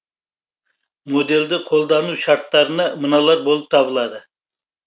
моделді қолдану шарттарына мыналар болып табылады